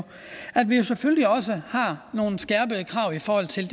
at vi jo selvfølgelig også har nogle skærpede krav i forhold til